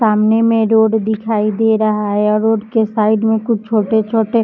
सामने में रोड दिखाई दे रहा है और रोड के साइड में कुछ छोटे-छोटे --